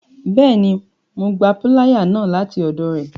Bẹẹni, Mo gbà piláyà náà lati ọdọ rẹ